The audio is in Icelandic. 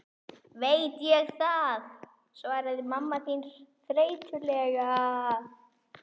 Veit ég það, svaraði mamma þín þreytulega.